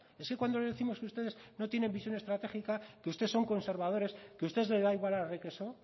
es que cuando le décimos que ustedes no tienen visión estratégica que ustedes son conservadores que ustedes les da igual arre que so